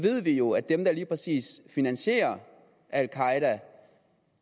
vi jo at dem der lige præcis finansierer al qaeda